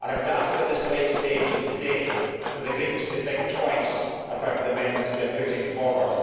I would ask at this late stage in the day for the Greens to think twice about the amendments they are putting forward.